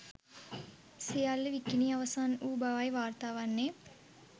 සියල්ල විකිණී අවසන් වූ බවයි වාර්තා වන්නේ